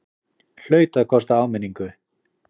Hlaut að kosta áminningu!